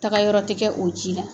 Taga yɔrɔ tɛ kɛ o ji la